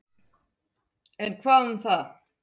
En hvað um það.